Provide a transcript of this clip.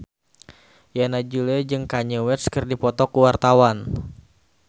Yana Julio jeung Kanye West keur dipoto ku wartawan